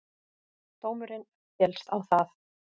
Dómurinn féllst á það.